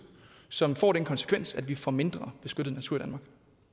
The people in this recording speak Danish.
som får den konsekvens at vi får mindre beskyttet natur